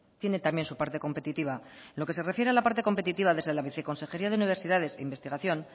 tiene también su parte competitiva en lo que se refiere a la parte competitiva desde la viceconsejería de universidades e investigación